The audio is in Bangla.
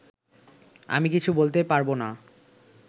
আমি কিছু বলতে পারব না